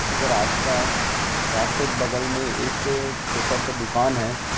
ऐक रास्ता हैं रास्ते बगल में एक छोटा सा दूकान हैं।